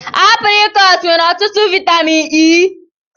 Aprịkọọt nwere ọtụtụ vaịtamịn E.